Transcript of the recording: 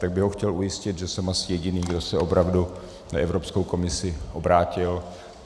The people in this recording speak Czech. Tak bych ho chtěl ujistit, že jsem asi jediný, kdo se opravdu na Evropskou komisi obrátil.